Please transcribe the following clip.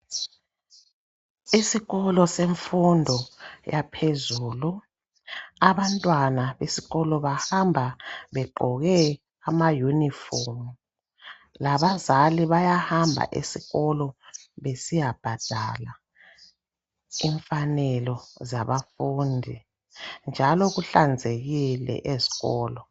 Isikolo semfundo yaphezulu. Abantwana besikolo bahamba begqoke amayunifomu. Labazali bayahamba esikolo besiyabhadala imfanelo zabafundi, njalo kuhlanzekile ezikolo.